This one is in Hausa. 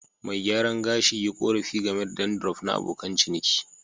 Mai gyaran gashi yi korafi game da dandruff na abokan ciniki.